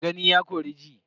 Gani ya kori ji.